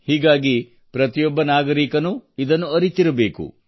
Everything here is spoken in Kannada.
ಹೀಗಾಗಿ ಪ್ರತಿಯೊಬ್ಬ ನಾಗರಿಕನೂ ಇದನ್ನು ಅರಿತಿರಬೇಕು